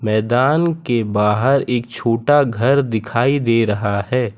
मैदान के बाहर एक छोटा घर दिखाई दे रहा है।